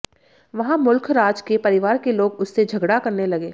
वहां मुल्खराज के परिवार के लोग उससे झगड़ा करने लगे